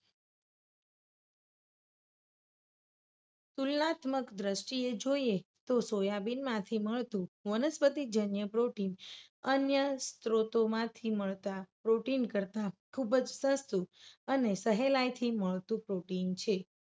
તુલનાત્મક દ્રષ્ટિએ જોઈએ તો સોયાબીન માંથી મળતું વનસ્પતિજન્ય protein અન્ય સ્ત્રોતો માંથી મળતા protein કરતાં ખૂબ જ સસ્તું અને સહેલાઈથી મળતું protein છે.